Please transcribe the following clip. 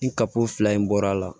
Ni kako fila in bɔra a la